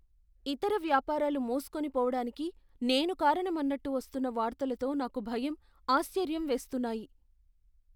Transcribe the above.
ఇతర వ్యాపారాలు మూస్కోని పోవడానికి నేను కారణం అన్నట్టు వస్తున్న వార్తలతో నాకు భయం, ఆశ్చర్యం వేస్తున్నాయి.